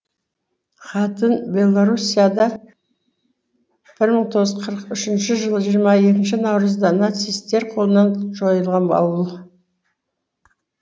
хатынь белоруссияда бір мың тоғыз жүз қырық үшінші жылғы жиырма екінші наурызда нацисттер қолынан жойылған ауыл